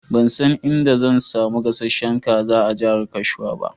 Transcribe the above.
Ban san inda zan samu gasasshen kaza a jahar Gashua ba.